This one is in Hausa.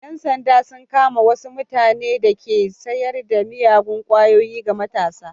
Yan sanda sun kama wasu mutane da ke sayar da miyagun kwayoyi ga matasa.